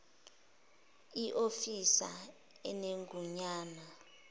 i ofisa enegunya